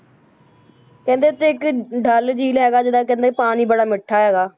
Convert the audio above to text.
ਕਹਿੰਦੇ ਉੱਥੇ ਇੱਕ ਡੱਲ ਝੀਲ ਹੈਗਾ ਜਿਹੜਾ ਕਹਿੰਦੇ ਪਾਣੀ ਬੜਾ ਮਿੱਠਾ ਹੈਗਾ,